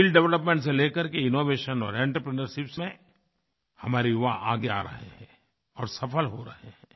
skill development से लेकर के इनोवेशन और आंत्रप्रिन्योरशिप में हमारे युवा आगे आ रहे हैं और सफल हो रहे हैं